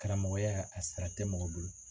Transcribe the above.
Karamɔgɔya a sara tɛ mɔgɔ bolo.